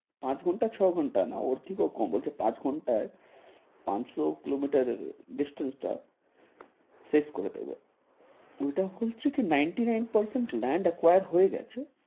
পাঁচ ঘন্টা, না ওর থেকেও কম বলছে পাঁচ ঘন্টায় পাঁচশো kilometer এর distance টা শেষ করে দেবে, উল্টা বলছে কি ninety-nine percent land acquire হয়ে গেছে,